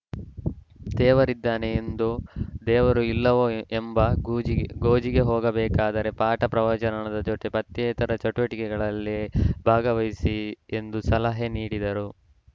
ದೇವರಿದ್ದಾನೆ ಎಂದೋ ದೇವರು ಇಲ್ಲವೋ ಎಂಬ ಗೋಜಿ ಗೋಜಿಗೆ ಹೋಗದೇ ಪಾಠ ಪ್ರವಚನದ ಜೊತೆ ಪಠ್ಯೇತರ ಚಟುವಟಿಕೆಗಳಲ್ಲಿ ಭಾಗವಹಿಸಿ ಎಂದು ಸಲಹೆ ನೀಡಿದರು